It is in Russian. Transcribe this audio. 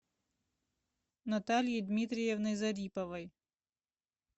натальей дмитриевной зариповой